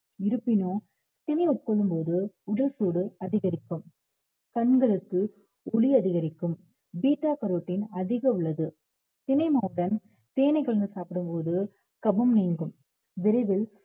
இருப்பினும் திணை உட்கொள்ளும் போது உடல் சூடு அதிகரிக்கும் கண்களுக்கு ஒளி அதிகரிக்கும் beta carotene அதிகம் உள்ளது திணை மாவுடன் தேனை கலந்து சாப்பிடு போது கபம் நீங்கும் விரைவில்